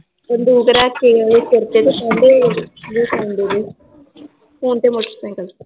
ਬੰਦੂਕ ਰੱਖਕੇ ਤੇ ਓਹਦੇ ਸਰ ਤੇ ਕਹਿੰਦੇ ਫੋਨ ਦੇਦੇl ਤੇ ਮੋਟਰ ਸੇਂਕਲ